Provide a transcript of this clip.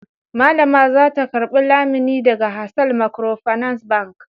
Mallama za ta karɓi lamuni daga Hasal Microfinance Bank.